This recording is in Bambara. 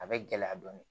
A bɛ gɛlɛya dɔɔnin